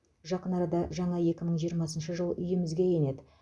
жақын арада жаңа екі мың жиырмасыншы жыл үйімізге енеді